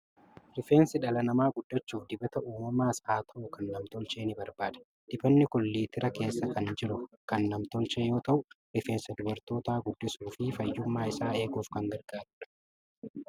Rifeensi dhala namaa guddachuuf dibata uumamaas haa ta'u, kan nam-tolchee ni barbaada. Dibatni kun litira keessa kan jiru kan nam-tolchee yoo ta'u, rifeensa dubartootaa guddisuu fi fayyummaa isaa eeguuf kan gargaarudha.